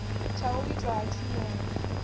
tsha u itwa ha tshumelo